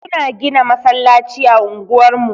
Suna gina masallaci a unguwar mu.